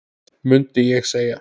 mundi ég segja.